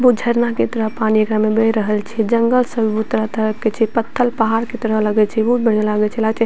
व झरना के तरह एकरा में पानी बह रहल छै जंगल सब भी बहुत तरह-तरह के छै पत्थल-पहाड़ के तरह लगे छै बहुत बढ़िया लागे छै लगे छै --